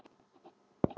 Lena: Gerði hvað?